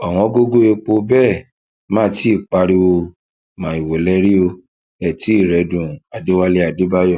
òwòǹgògó epo bẹ ẹ má ti í í pariwo maiwo lè rí ẹ ó tì í rẹẹdùn o adéwálé adébáyò